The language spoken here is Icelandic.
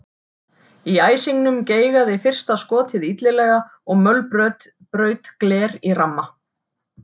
Í æsingnum geigaði fyrsta skotið illilega og mölbraut gler í ramma.